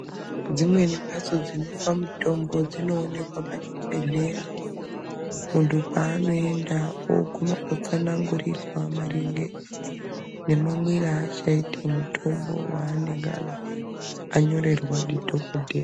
Dzimweni mbatso dzinopa mitombo dzinooneka pachibhedhlera, muntu paanoenda oguma otsanangurirwa maringe nemamwira aachati mutombo waanenge anyorerwa ndidhokodhera.